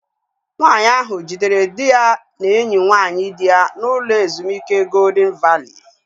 Nwaanyi ahu jidere dị ya na enyi nwaanyị di ya n'ụlọ ezumike Goldịn Valii